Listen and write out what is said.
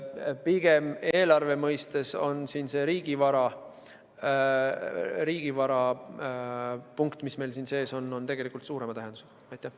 Pigem on eelarve mõttes riigivara punkt, mis meil siin sees on, suurema tähendusega.